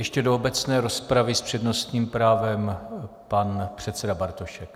Ještě do obecné rozpravy s přednostním právem pan předseda Bartošek.